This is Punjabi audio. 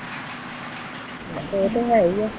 ਇਹ ਤੇ ਹੈ ਹੀ ਏ।